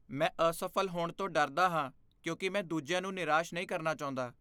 ਮੈਂ ਅਸਫ਼ਲ ਹੋਣ ਤੋਂ ਡਰਦਾ ਹਾਂ ਕਿਉਂਕਿ ਮੈਂ ਦੂਜਿਆਂ ਨੂੰ ਨਿਰਾਸ਼ ਨਹੀਂ ਕਰਨਾ ਚਾਹੁੰਦਾ।